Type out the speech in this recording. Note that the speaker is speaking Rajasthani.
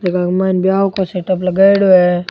जेका के माइन बियाह को सेटअप लगायेडॉ है।